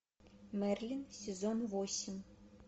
мерлин сезон восемь